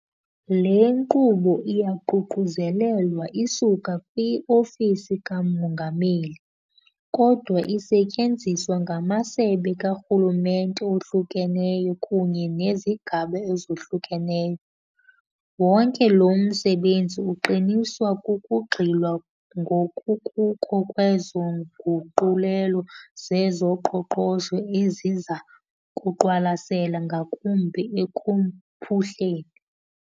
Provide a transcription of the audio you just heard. Le nkqubo iyaququzelelwa isuka kwi-Ofisi kaMongameli, kodwa isetyenziswa ngamasebe karhulumente ohlukeneyo kunye nezigaba ezohlukeneyo. Wonke lo msebenzi uqiniswa kukugxilwa ngokukuko kwezo nguqulelo zezoqoqosho eziza kuqwalasela ngakumbi ekuphuhleni.